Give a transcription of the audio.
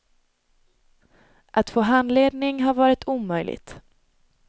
Att få handledning har varit omöjligt.